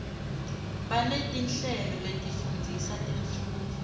banetinhlelo letifundzisa temfundvo